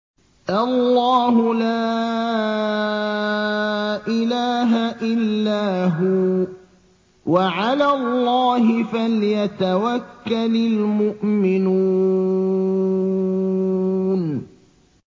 اللَّهُ لَا إِلَٰهَ إِلَّا هُوَ ۚ وَعَلَى اللَّهِ فَلْيَتَوَكَّلِ الْمُؤْمِنُونَ